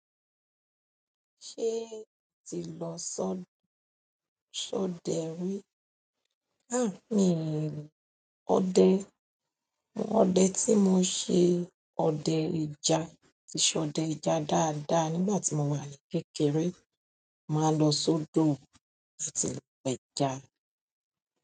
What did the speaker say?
Ṣé ti lọ sọ, sọdẹ rí? Há, mii n òde, òde tí mo ṣe òde ẹja, tí ṣọdẹ ẹja dáadáa nígbà tí mo wà ní kékeré. Máa lọ sódò láti pa ẹja.